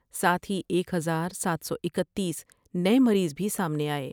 ساتھ ہی ایک ہزار سات سو اکتیس نئے مریض بھی سامنے آئے ۔